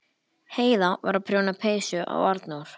Heiða var að prjóna peysu á Arnór.